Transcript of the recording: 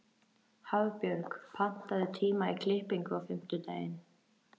Hafbjörg, pantaðu tíma í klippingu á fimmtudaginn.